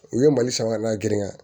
U ye mali san ka na girin ka